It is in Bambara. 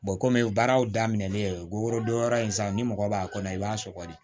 kɔmi baaraw daminɛlen worodon yɔrɔ in san ni mɔgɔ b'a kɔnɔ i b'a sɔgɔ de